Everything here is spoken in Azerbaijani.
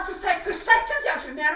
Bunun var 38, 48 yaşı.